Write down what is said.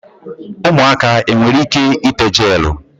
Umuaka enwere ike ite gelu?